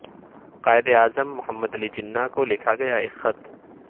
قائد اعظم محمد علی جناح کو لکھا گیا ایک خط